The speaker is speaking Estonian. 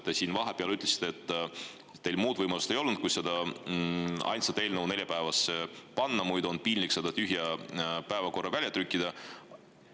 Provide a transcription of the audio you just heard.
Te siin vahepeal ütlesite, et teil muud võimalust ei olnud kui see ainus eelnõu neljapäevale panna, muidu on piinlik seda tühja päevakorda välja trükkida.